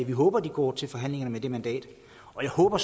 håber de går til forhandlingerne med det mandat og jeg håber